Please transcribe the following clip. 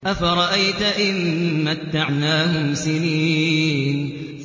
أَفَرَأَيْتَ إِن مَّتَّعْنَاهُمْ سِنِينَ